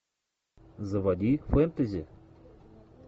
заводи фэнтези